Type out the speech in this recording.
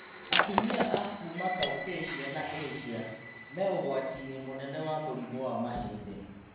Atumia a kuma Caucasia na Asia, me ũgwati-inĩ mũnene wa mũrimũ wa mahĩndĩ